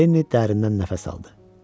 Lenni dərindən nəfəs aldı.